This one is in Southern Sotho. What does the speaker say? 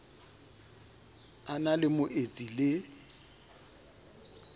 a na le moetsi le